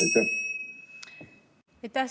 Aitäh!